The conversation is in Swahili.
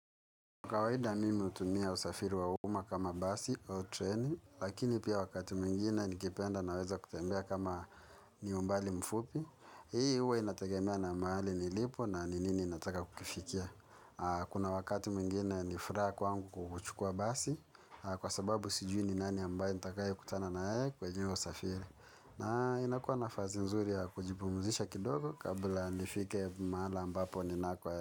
Kawaida mimi hutumia usafiri wa umma kama basi au treni, lakini pia wakati mwingine nikipenda naweza kutembea kama ni umbali mfupi. Hii huwa inategemea na mahali nilipo na ni nini ninataka kukifikia. Kuna wakati mwingine ni furaha kwangu kuchukuwa basi, kwa sababu sijui ni nani ambaye nitakayekutana na yeye kwenye hiyo usafiri. Na inakuwa nafasi nzuri ya kujipumzisha kidogo kabla nifike mahala ambapo ninako.